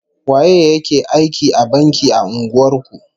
Waye ya ke aiki a banki a unguwar ku?